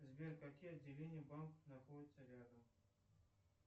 сбер какие отделения банков находятся рядом